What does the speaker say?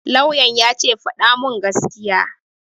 Lauyan ya ce 'Faɗa mun gaskiya'!